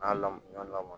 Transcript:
N'a lamɔ la